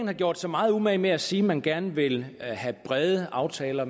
har gjort sig meget umage med at sige at man gerne vil have brede aftaler